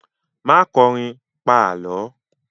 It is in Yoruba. Má kọrin, pa Àlọ́!